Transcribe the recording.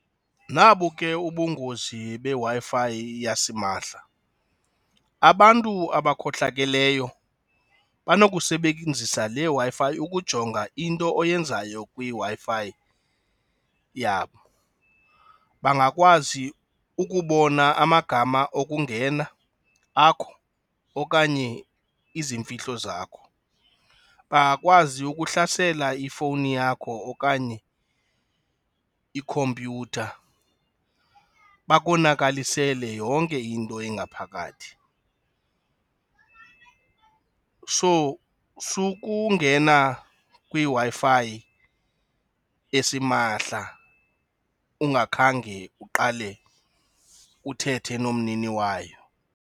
Nabo ke ubungozi beWi-Fi yasimahla, abantu abakhohlakeleyo banokusebenzisa leWi-Fi ukujonga into oyenzayo kwiWi-Fi yabo. Bangakwazi ukubona amagama okungena akho okanye izimfihlo zakho, bangakwazi ukuhlasela ifowuni yakho okanye ikhompyutha bakonakalisele yonke into engaphakathi. So sukungena kwiWi-Fi esimahla ungakhange uqale uthethe nomnini wayo.